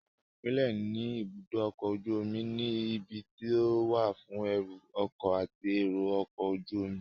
Àwọn ipele ní ibùdó ọkọ̀ ojú omi ni; ibi tó wà fún ẹrù ọkọ̀ àti èrò ọkọ̀ ojú omi